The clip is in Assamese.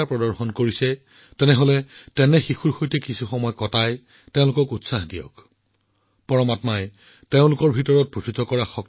লগতে আপোনালোক সকলোকে অনুৰোধ জনাও যে আপোনালোকৰ গাঁৱৰ আপোনালোকৰ ওচৰচুবুৰীয়া অঞ্চলৰ এনে শিশু যিসকলে এই খেলত অংশ লৈছে বা বিজয়ী হৈ আত্মপ্ৰকাশ কৰিছে তেওঁলোকৰ ওচৰলৈ পৰিয়ালৰ সৈতে যাওক